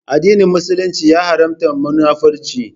Addinin Musulunci ya Haramta Munafurci